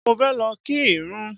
Mo fẹ́ lọ kí ìrún.